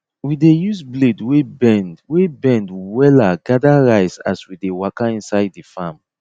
we dey use blade wey bend wey bend wella gather rice as we dey waka inside the farm